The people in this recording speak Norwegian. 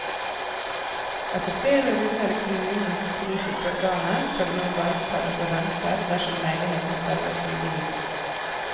Etter flere runder i kommunens politiske organer skal det nå bare betales renter dersom leiligheten selges med gevinst.